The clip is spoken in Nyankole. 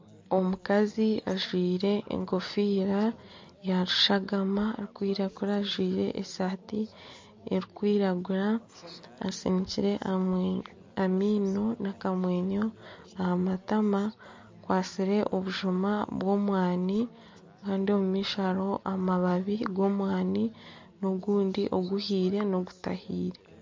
Omukazi ajwaire enkofiira ya rushagama arikwiragura ajwaire esaati erikwiragura, asinikire amaino n'akamwenyo aha matama. Akwatsire obujuma bw'omwani kandi omu maisho hariho amababi g'omwani, n'ogundi oguhiire n'ogutahiire.